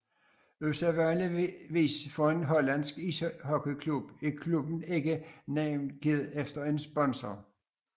Usædvanligvis for en hollandsk ishockeyklub er klubben ikke navngivet efter en sponsor